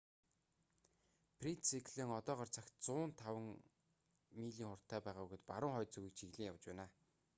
фред циклон одоогоор цагт 105 милийн 165 км/цаг хурдтай байгаа бөгөөд баруун хойд зүгийг чиглэн явж байна